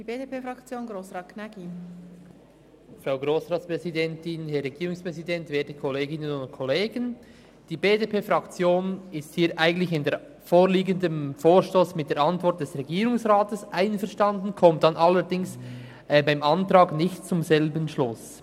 Die BDP-Fraktion ist eigentlich beim vorliegenden Vorstoss mit der Antwort des Regierungsrats einverstanden, kommt dann allerdings beim Antrag nicht zum selben Schluss.